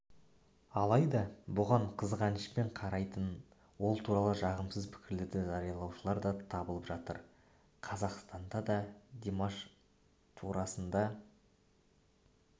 алайда бұған қызғанышпен қарайтын ол туралы жағымсыз пікірлерді жариялаушылар да табылып жатыр қазақстанда да димаш турасында